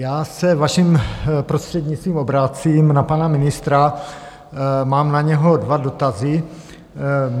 Já se vaším prostřednictvím obracím na pana ministra, mám na něho dva dotazy.